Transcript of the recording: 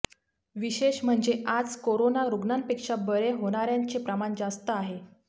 विशेष म्हणजे आज कोरोना रुग्णांपेक्षा बरे होणाऱ्यांचे प्रमाण जास्त आहे